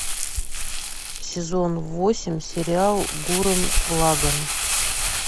сезон восемь сериал гуррен лаганн